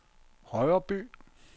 Højreby